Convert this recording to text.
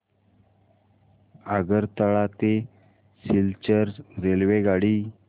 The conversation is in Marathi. आगरतळा ते सिलचर रेल्वेगाडी